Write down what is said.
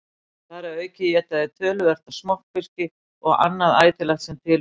Þar að auki éta þeir töluvert af smokkfiski og annað ætilegt sem til fellur.